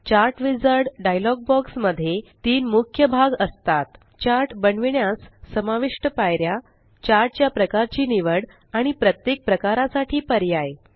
chart wizard dialog box मध्ये तीन मुख्य भाग असतात चार्ट बनविण्यास समाविष्ट पायऱ्या चार्ट च्या प्रकारची निवड आणि प्रत्येक प्रकारासाठी पर्याय